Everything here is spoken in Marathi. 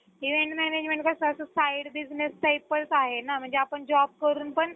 event management कसं असं side business type च आहे ना म्हणजे आपण job करून पण